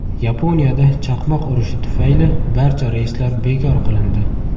Yaponiyada chaqmoq urishi tufayli barcha reyslar bekor qilindi.